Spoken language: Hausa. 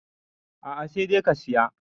a a sai dai ka Siya